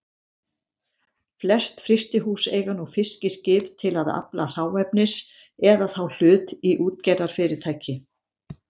Flest frystihús eiga nú fiskiskip til að afla hráefnis eða þá hlut í útgerðarfyrirtæki.